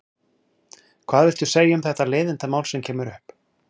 Hvað viltu segja um þetta leiðindamál sem kemur upp?